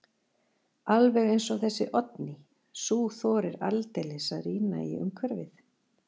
Alveg eins og þessi Oddný, sú þorir aldeilis að rýna í umhverfið.